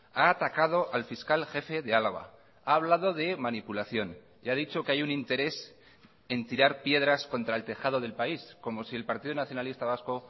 ha atacado al fiscal jefe de álava ha hablado de manipulación y ha dicho que hay un interés en tirar piedras contra el tejado del país como si el partido nacionalista vasco